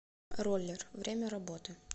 роллер время работы